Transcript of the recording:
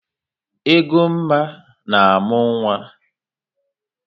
Egoma na-amụ nwa.